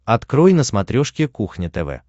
открой на смотрешке кухня тв